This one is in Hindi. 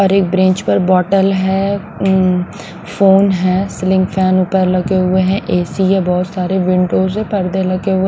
और एक ब्रेंच पर है फोन है स्लिंग फैन ऊपर लगे हुए हैं एसी हैबहुत सारे विंडोज है ।